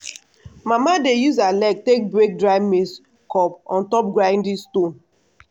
mama dey use her leg take break dry maize cob on top grinding stone.